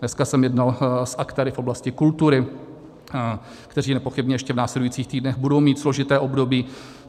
Dneska jsem jednal s aktéry v oblasti kultury, kteří nepochybně ještě v následujících týdnech budou mít složité období.